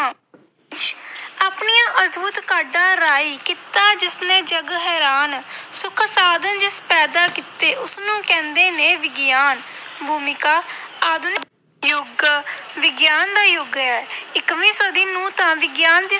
ਆਪਣੀਆਂ ਅਦਭੁਤ ਕਾਢਾਂ ਰਾਹੀਂ ਕੀਤਾ ਜਿਸਨੇ ਜੱਗ ਹੈਰਾਨ ਸੁੱਖ ਸਾਧਨ ਜਿਸ ਪੈਦਾ ਕੀਤੇ ਉਸ ਨੂੰ ਕਹਿੰਦੇ ਨੇ ਵਿਗਿਆਨ ਭੂਮਿਕਾ ਆਧੁਨਿਕ ਯੁੱਗ ਵਿਗਿਆਨ ਦਾ ਯੁੱਗ ਹੈ ਇਕਵੀਂ ਸਦੀ ਨੂੰ ਤਾਂ ਵਿਗਿਆਨ ਦੀ